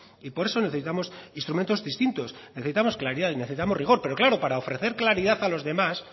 y por eso necesitamos instrumentos distintos necesitamos claridad y necesitamos rigor pero claro para ofrecer claridad a los demás